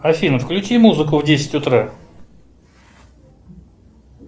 афина включи музыку в десять утра